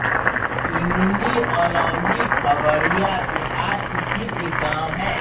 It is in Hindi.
इमली अलौली खगड़िया बिहार स्थित एक गाँव है